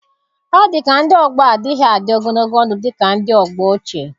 Ọ dika ndị ọgbọ á adịghị adị ogologo ndụ dị ka ndị ọgbọ ochie